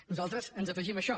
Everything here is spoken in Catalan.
nosaltres ens afegim a això